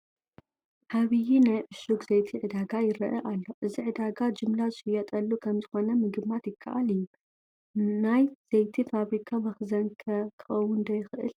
ዓብዪ ናይ ዕሹግ ዘይቲ ዕዳጋ ይርአ ኣሎ፡፡ እዚ ዕዳጋ ጅምላ ዝሽየጠሉ ከምዝኾነ ምግማት ይከኣል እዩ፡፡ ናይ ዘይቲ ፋብሪካ መኽዘን ከ ክኸውን ዶ ይኽእል?